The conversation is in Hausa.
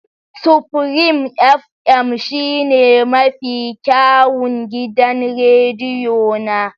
Supreme fm shine mafi kyawun gidan rediyo na.